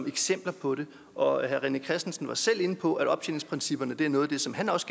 eksempler på det og herre rené christensen var selv inde på at optjeningsprincipperne er noget af det som han også